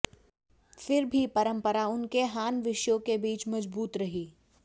फिर भी परंपरा उनके हान विषयों के बीच मजबूत रही